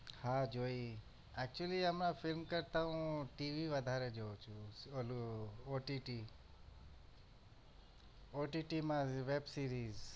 હા જોઈ actually હમણાં film કરતા હું TV વધારે જોઉં છુ ઓલું OTT OTT માં web series